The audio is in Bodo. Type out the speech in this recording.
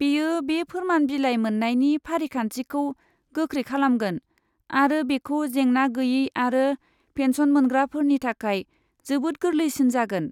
बेयो बे फोरमान बिलाइ मोननायनि फारिखान्थिखौ गोख्रै खालामगोन आरो बेखौ जेंना गैयै आरो पेन्सन मोनग्राफोरनि थाखाय जोबोद गोरलैसिन जागोन।